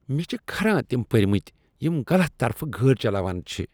مےٚ چھ کھران تم پٔرۍمٕتۍ كھران یم غلط طرفہٕ گٲڑۍ چلاوان چھِ ۔